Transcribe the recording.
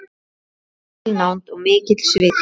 Mikil nánd og mikill sviti.